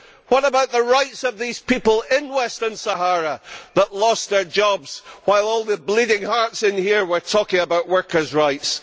What about the rights of these people in Western Sahara who lost their jobs while all the bleeding hearts in here were talking about workers' rights?